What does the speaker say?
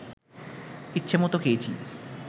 ইচ্ছেমত খেয়েছি